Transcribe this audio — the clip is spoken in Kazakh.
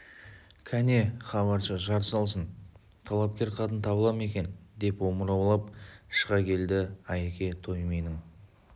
кәне хабаршы жар салсын талапкер қатын табыла ма екен деп омыраулап шыға келді айеке той менің